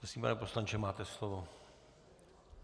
Prosím, pane poslanče, máte slovo.